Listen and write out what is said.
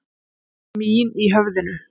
Mín í höfðinu.